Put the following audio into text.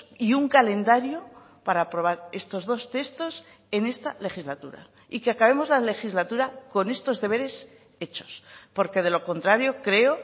y un calendario para aprobar estos dos textos en esta legislatura y que acabemos la legislatura con estos deberes hechos porque de lo contrario creo